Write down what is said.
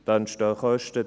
» Es entstehen Kosten.